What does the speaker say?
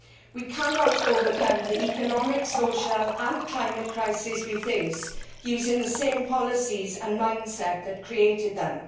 We cannot overcome the economic, social and climate crisis we face using the same policies and mindset that created them